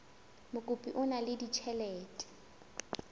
mokopi o na le ditjhelete